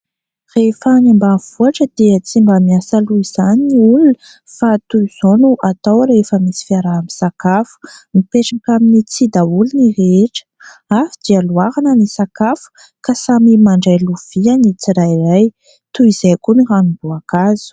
Rehefa any ambanivohitra dia tsy mba miasa loha izany ny olona fa toy izao no atao rehefa misy fiaraha-misakafo, mipetraka amin'ny tsihy daholo ny rehetra, avy dia loharana ny sakafo ka samy mandray lovia ny tsirairay, toy izay koa ny ranomboakazo.